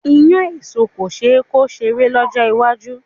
Iyán èso kò ṣe é kó kéré lọ́jọ́ iwájú.